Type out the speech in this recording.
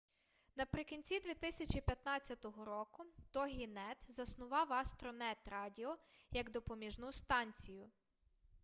наприкінці 2015 року тогінет заснував астронет радіо як допоміжну станцію